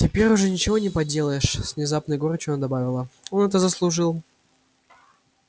теперь уже ничего не поделаешь с внезапной горечью она добавила он это заслужил